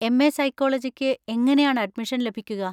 M. A സൈക്കോളജിക്ക് എങ്ങനെയാണ് admission ലഭിക്കുക?